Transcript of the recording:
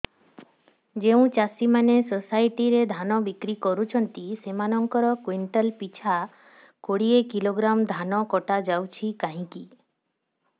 ଯେଉଁ ଚାଷୀ ମାନେ ସୋସାଇଟି ରେ ଧାନ ବିକ୍ରି କରୁଛନ୍ତି ସେମାନଙ୍କର କୁଇଣ୍ଟାଲ ପିଛା ଦଶ କିଲୋଗ୍ରାମ ଧାନ କଟା ଯାଉଛି କାହିଁକି